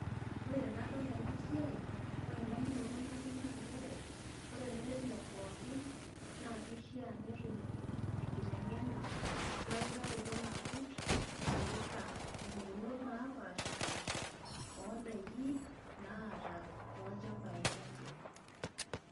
Ore tanadol enasiai, ore ndamunoto natum naa nchere ore lairemok pookin na kishaa netum enkitengena weutaroto nagut naipirta mpukunok napashipaasha ondakini naata tolchambai lenye.